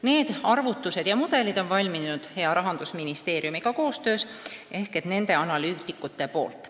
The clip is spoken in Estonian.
Need arvutused ja mudelid on valminud hea Rahandusministeeriumiga koostöös, need on teinud Rahandusministeeriumi analüütikud.